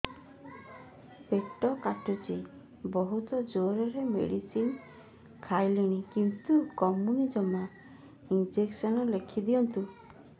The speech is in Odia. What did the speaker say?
ପେଟ କାଟୁଛି ବହୁତ ଜୋରରେ ମେଡିସିନ ଖାଇଲିଣି କିନ୍ତୁ କମୁନି ଜମା ଇଂଜେକସନ ଲେଖିଦିଅନ୍ତୁ